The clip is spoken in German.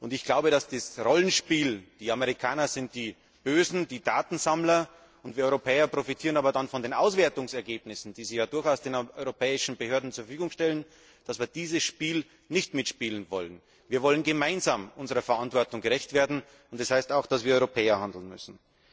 Ich glaube, dass wir dieses Rollenspiel die Amerikaner sind die Bösen, die Datensammler, und wir Europäer profitieren aber dann von den Auswertungsergebnissen, die sie ja durchaus den europäischen Behörden zur Verfügung stellen nicht mitspielen wollen. Wir wollen gemeinsam unserer Verantwortung gerecht werden, und das heißt auch, dass wir Europäer handeln müssen.